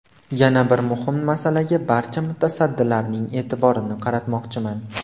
Yana bir muhim masalaga barcha mutasaddilarning e’tiborini qaratmoqchiman.